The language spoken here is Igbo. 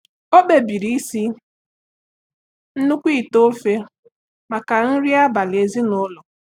O kpebiri isi nnukwu ite ofe maka nri abalị ezinụlọ.